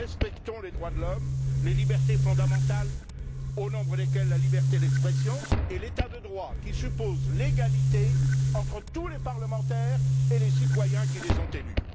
Nous respectons les droits de l'homme, les libertés fondamentales au nombre desquelles la liberté d'expression et l'état de droit, qui suppose l'égalité entre tous les parlementaires et les citoyens qui les ont élus.